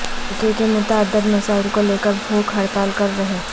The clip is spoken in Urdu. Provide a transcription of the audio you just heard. حلقہ کے متعدد مسائل کو لے کر بھوک ہڑتال کر رہے